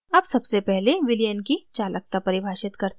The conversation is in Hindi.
अब सबसे पहले विलयन की चालकता परिभाषित करते हैं